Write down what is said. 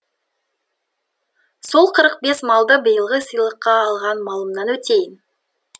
сол қырық бес малды биылғы сыйлыққа алған малымнан өтейін